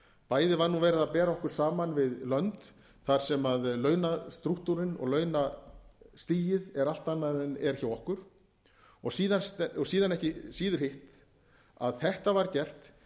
bæði var verið að bera okkur saman við lönd þar sem launastrúktúrinn og launastigið er allt annað en er hjá okkur og síðan ekki síður hitt að þetta var gert